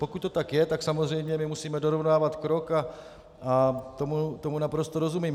Pokud to tak je, tak samozřejmě my musíme dorovnávat krok a tomu naprosto rozumím.